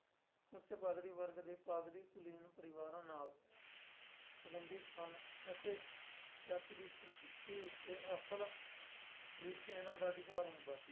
ਉੱਚ ਪਾਧਰੀ ਵਰਗ ਦੇ ਪਾਧਰੀ ਕੁਲੀਨ ਪਰਿਵਾਰਾਂ ਨਾਲ ਸੰਬੰਧਿਤ ਸਨ ਅਤੇ ਚਰਚ ਦੀ ਸੰਪਤੀ ਉੱਤੇ ਅਸਲ ਵਿੱਚ ਇਹਨਾਂ ਦਾ ਅਧਿਕਾਰ ਹੁੰਦਾ ਸੀ।